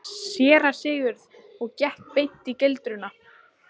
SÉRA SIGURÐUR: Og gekk beint í gildruna?